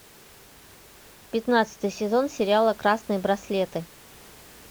пятнадцатый сезон сериала красные браслеты